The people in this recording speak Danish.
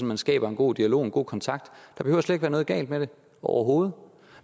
man skaber en god dialog en god kontakt der behøver slet ikke være noget galt med det overhovedet